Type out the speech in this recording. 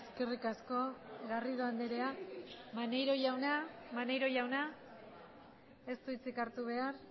eskerrik asko garrido andrea maneiro jauna maneiro jauna ez du hitzik hartu behar